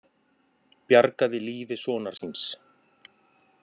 Bjargaði lífi sonar síns